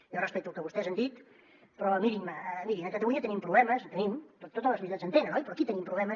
jo respecto el que vostès han dit però mirin a catalunya tenim problemes en tenim totes les societats en tenen oi però aquí tenim problemes